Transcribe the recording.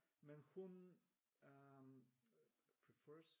Men hun øh prefers?